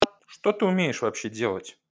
что ты умеешь вообще делать